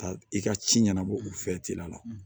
Ka i ka ci ɲɛnabɔ u fɛ teliya la